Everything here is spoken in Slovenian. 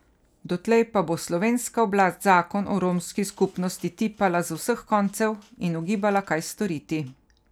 Dotlej pa bo slovenska oblast zakon o romski skupnosti tipala z vseh koncev in ugibala, kaj storiti.